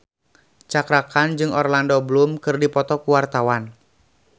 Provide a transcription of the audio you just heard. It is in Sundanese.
Cakra Khan jeung Orlando Bloom keur dipoto ku wartawan